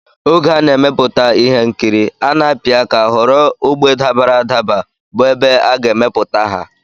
Oge a na-emepụta ihe nkiri a na-apị aka họrọ ógbè dabara adaba bụ ebe a ga-emepụta ha